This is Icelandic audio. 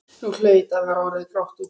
Nú hlaut að vera orðið grátt úti.